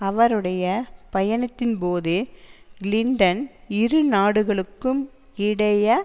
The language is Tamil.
அவருடைய பயணத்தின்போது கிளின்டன் இரு நாடுகளுக்கும் இடைய